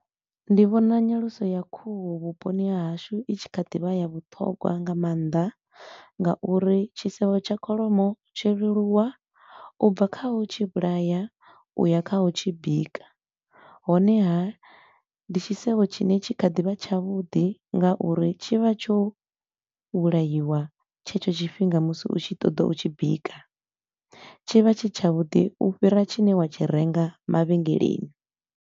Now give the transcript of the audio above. Ndi vhona nyaluso ya khuhu vhuponi ha hashu i tshi kha ḓi vha ya vhuṱhogwa nga maanḓa ngauri tshisevho tsha kholomo tsho leluwa u bva kha u tshi vhulaya u ya kha u tshi bika. Honeha, ndi tshisevho tshine tshi kha ḓi vha tshavhuḓi ngauri tshi vha tsho vhulaiwa tshetsho tshifhinga musi u tshi ṱoḓa u tshi bika. Tshivha tshi tshavhuḓi u fhira tshine wa tshi renga mavhengeleni.